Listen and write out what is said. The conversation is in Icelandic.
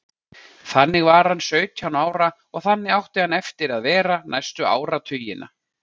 Þannig var hann sautján ára og þannig átti hann eftir að vera næstu áratugina.